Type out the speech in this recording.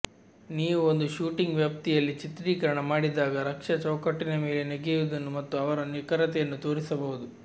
ನೀವು ಒಂದು ಶೂಟಿಂಗ್ ವ್ಯಾಪ್ತಿಯಲ್ಲಿ ಚಿತ್ರೀಕರಣ ಮಾಡಿದಾಗ ರಕ್ಷಾ ಚೌಕಟ್ಟಿನ ಮೇಲೆ ನೆಗೆಯುವುದನ್ನು ಮತ್ತು ಅವರ ನಿಖರತೆಯನ್ನು ತೋರಿಸಬಹುದು